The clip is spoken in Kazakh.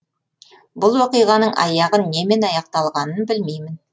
бұл оқиғаның аяғы немен аяқталғанын білмеймін